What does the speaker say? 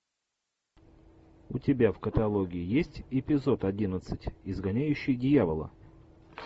у тебя в каталоге есть эпизод одиннадцать изгоняющий дьявола